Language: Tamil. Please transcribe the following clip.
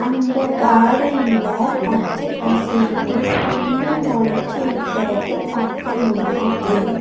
அந்த காடன் ல பச்ச பசேல்னு புல்லு மொளச்சு இருக்கிறது பாக்க முடியுது.